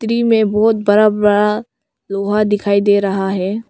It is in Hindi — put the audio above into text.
पी में बहुत बड़ा बड़ा लोहा दिखाई दे रहा हैं।